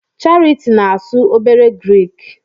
Charity na-asu obere Grik